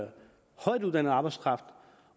højtuddannet arbejdskraft